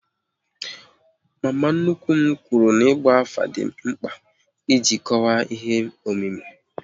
Mama nnukwu m kwụrụ n'igba afa dị mkpa iji kọwaa ihe omimi